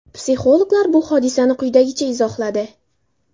Psixologlar bu hodisani quyidagicha izohladi.